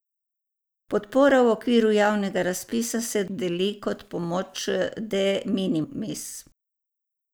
Podpora v okviru javnega razpisa se dodeli kot pomoč de minimis.